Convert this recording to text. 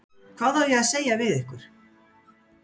Hvað á ég að segja við ykkur?